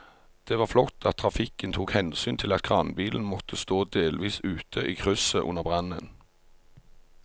Det var flott at trafikken tok hensyn til at kranbilen måtte stå delvis ute i krysset under brannen.